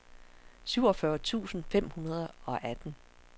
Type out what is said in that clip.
syvogfyrre tusind fem hundrede og atten